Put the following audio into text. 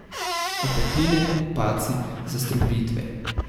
Opekline, padci, zastrupitve.